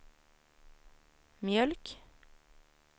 mjölk